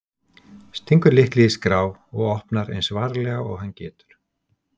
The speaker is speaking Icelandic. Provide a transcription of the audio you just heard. Stingur lykli í skrá og opnar eins varlega og hann getur.